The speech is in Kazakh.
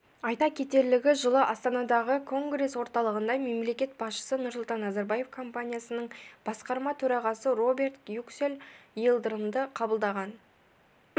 айта кетерлігі жылы астанадағы конгресс-орталығында мемлекет басшысы нұрсұлтан назарбаев компаниясының басқарма төрағасы роберт юксель йылдырымды қабылдаған